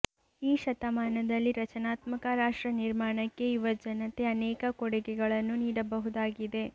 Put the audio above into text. ಈ ಶತಮಾನದಲ್ಲಿ ರಚನಾತ್ಮಕ ರಾಷ್ಟ್ರ ನಿರ್ಮಾಣಕ್ಕೆ ಯುವಜನತೆ ಅನೇಕ ಕೊಡುಗೆಗಳನ್ನು ನೀಡಬಹುದಾಗಿದೆ